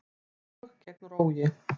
Lög gegn rógi